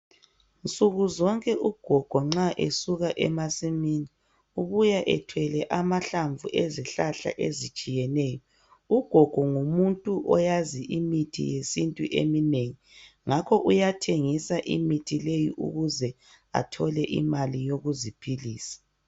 Nsukuzonke ugogo nxa esuka emasimini ubuya ethwele amahlamvu ezihlahla ezitshiyeneyo. Ugogo ngumuntu oyazi imithi yesintu eminengi ngakho uyathengisa imithi leyi ukuze athole imali yokuziphilisa.